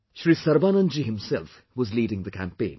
Shri Sarbanandji himself was leading the campaign